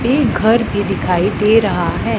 ये घर भी दिखाई दे रहा है।